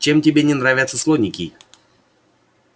чем тебе не нравятся слоники